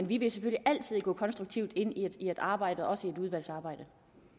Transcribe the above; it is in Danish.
villig til at gå konstruktivt ind i udvalgsarbejdet